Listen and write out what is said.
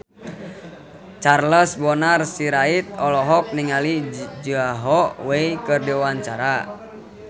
Charles Bonar Sirait olohok ningali Zhao Wei keur diwawancara